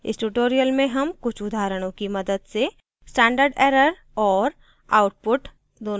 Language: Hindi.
इस tutorial में हम कुछ उदाहरणो की मदद से standard error और output